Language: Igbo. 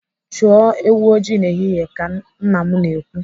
Chụọ ewu ọjị n'ehihie ka nna m na-ekwu.